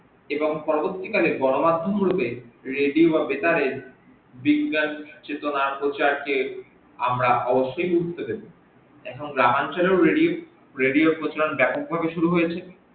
এবং পরবর্তী কালে গনমাধ্যম গুলিকে radio বা বেতারের বিজ্ঞান চেতনা প্রচারকে আমরা অবসসই বুঝতে পেরেছি এখন গ্রাম অঞ্চলেও radio প্রচলন ব্যাপক ভাবে শুরু হয়েছে